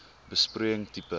besproeiing tipe